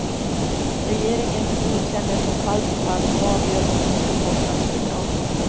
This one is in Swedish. Regeringen godkänner från fall till fall och avgör om de skall få statsbidrag.